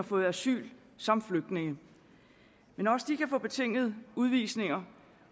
fået asyl som flygtninge men også de kan få betingede udvisninger